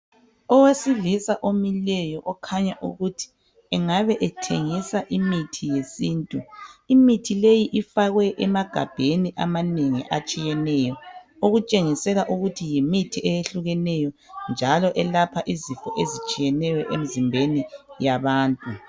Owesilisa omileyo okhanya ukuthi engabe ethengisa imithi yesintu imithi leyi ifakwe emagabheni amanengi atshiyeneyo okutshengisela ukuthi yimithi eyehlukeneyo njalo elapha izifo ezitshiyeneyo emzimbeni yabantu.